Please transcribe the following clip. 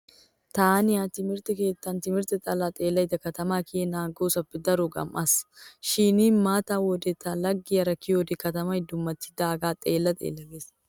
Taani ha timirtte keettan timirtte xallaa xeellada katamaa kiyennan aggoosappe daro gam"iis. Shin mata wode ta laggiyara kiyode katamay dummatidaagee xeella xeella gees.